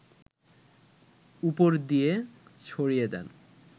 উপর দিয়ে ছড়িয়ে দিন